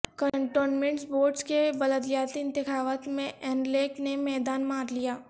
cantonment boards کے بلدیاتی انتخابات میں ن لیگ نے میدان مارلیا